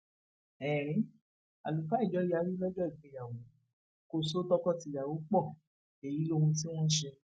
ẹrín àlùfáà ìjọ yarí lọjọ ìgbéyàwó kò so tọkọtìyàwó pọ èyí lohun tí wọn ṣe